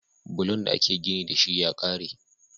Bulon da ake gini dashi ya kare